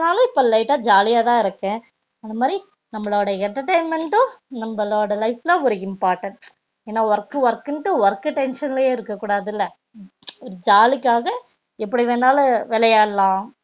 ஆனா இப்போ லைட்டா ஜாலி யாதா இருக்க அதா மாதிரி நம்பலோட entertainment டும் நம்ப லோட life ல ஒரு important ஏனா work க்கு work னு work tension லையே இருக்க கூடாதுல ஒரு ஜாலியா காக எப்டி வேனாலும் விளையாடலாம்